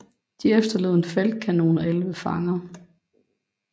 De efterlod en feltkanon og 11 fanger